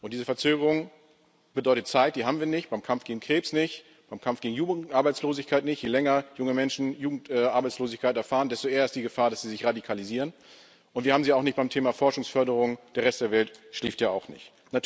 Und diese Verzögerung bedeutet Zeit, die wir nicht haben beim Kampf gegen Krebs nicht, beim Kampf gegen Jugendarbeitslosigkeit nicht je länger junge Menschen Jugendarbeitslosigkeit erfahren, desto eher ist die Gefahr, dass sie sich radikalisieren und wir haben sie auch nicht beim Thema Forschungsförderung Der Rest der Welt schläft ja auch nicht.